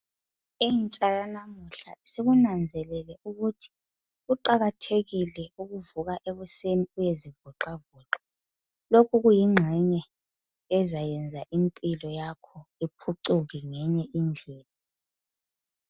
intsha yanamuhla isikunanzelele ukuthi kuqakathekile ukuvuka ekuseni uyezivoxavoxa lokhu kuyinxenye ezanyenza impilo yakho iphucuke ngenye indlela